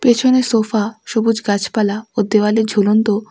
পিছনে সোফা সবুজ গাছপালা ও দেওয়ালে ঝুলন্ত--